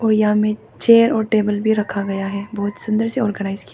और यहां में चेयर और टेबल भी रखा गया हैं। बहुत सुन्दर से ऑर्गेनाइज कि --